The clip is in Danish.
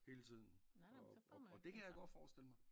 Hele tiden og og det kan jeg godt forestille mig